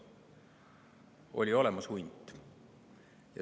Oli olemas hunt.